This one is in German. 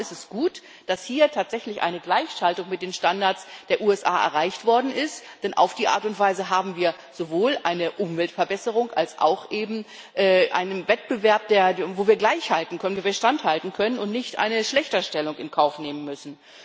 Darum ist es gut, dass hier tatsächlich eine Gleichschaltung mit den Standards der USA erreicht worden ist, denn auf diese Art und Weise haben wir sowohl eine Umweltverbesserung als auch einen Wettbewerb, wo wir mithalten können, wo wir standhalten können und nicht eine Schlechterstellung in Kauf nehmen müssen.